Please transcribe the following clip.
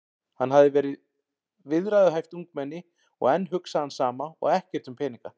Hann hafði verið viðræðuhæft ungmenni og enn hugsaði hann sama og ekkert um peninga.